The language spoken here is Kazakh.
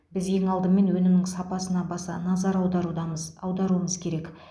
біз ең алдымен өнімнің сапасына баса назар аударудамыз аударуымыз керек